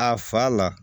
A fa la